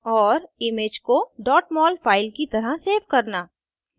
* और image को mol file की तरह सेव करना